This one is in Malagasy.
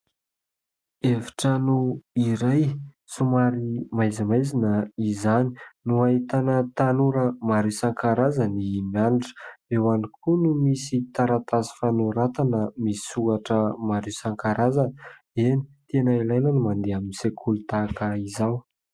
Efitrano iray somary maizimaizina izany no ahitana tanora maro isan-karazany mianatra; eo ihany koa no misy taratasy fanoratana misy soratra maro isan-karazany. Eny, tena ilaina ny mandeha amin'ny sekoly tahaka izao.